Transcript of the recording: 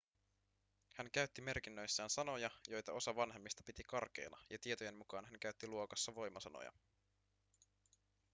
hän käytti merkinnöissään sanoja joita osa vanhemmista piti karkeina ja tietojen mukaan hän käytti luokassa voimasanoja